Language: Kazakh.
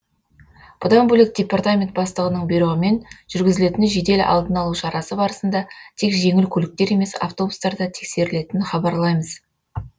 бұдан бөлек департамент бастығының бұйрығымен жүргізілетін жедел алдын алу шарасы барысында тек жеңіл көліктер емес автобустар да тексерілетінін хабарлаймыз